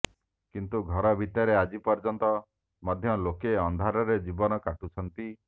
କିନ୍ତୁ ଘର ଭିତରେ ଆଜି ପର୍ଯ୍ୟନ୍ତ ମଧ୍ୟ ଲୋକେ ଅନ୍ଧାରରେ ଜୀବନ କାଟୁଛନ୍ତି